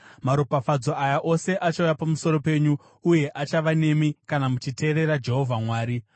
Maropafadzo aya ose achauya pamusoro penyu uye achava nemi kana muchiteerera Jehovha Mwari: